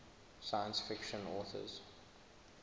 science fiction authors